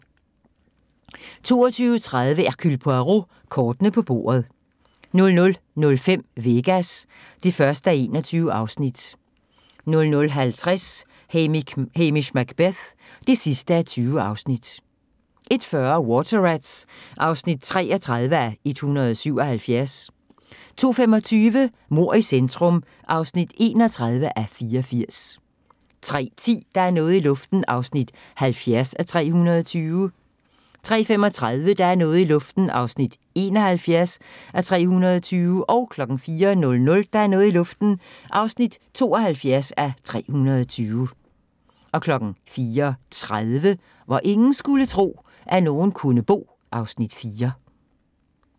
22:30: Hercule Poirot: Kortene på bordet 00:05: Vegas (1:21) 00:50: Hamish Macbeth (20:20) 01:40: Water Rats (33:177) 02:25: Mord i centrum (31:84) 03:10: Der er noget i luften (70:320) 03:35: Der er noget i luften (71:320) 04:00: Der er noget i luften (72:320) 04:30: Hvor ingen skulle tro, at nogen kunne bo (Afs. 4)